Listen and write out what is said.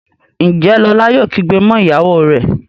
Njé Lola yóò kígbe mọ ìyàwó rẹ?